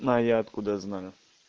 а я откуда знаю